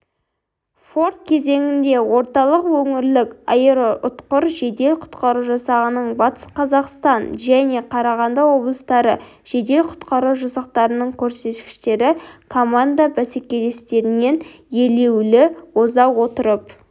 форт кезеңінде орталық өңірлік аэроұтқыр жедел-құтқару жасағының батыс қазақстан және қарағанды облыстары жедел-құтқару жасақтарының көрсеткіштері команда-бәсекелестерінен елеулі оза отырып